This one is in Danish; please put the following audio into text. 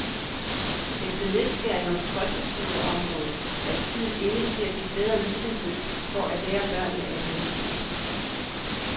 Efter nedskæringer på folkeskoleområdet er tiden inde til at give bedre muligheder for at lære børnene at læse.